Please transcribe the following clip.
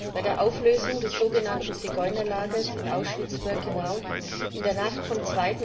Bei der Auflösung des sogenannten Zigeunerlagers in Ausschwitz Birkenau, in der Nacht vom